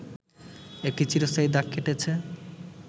একটি চিরস্থায়ী দাগ কেটেছে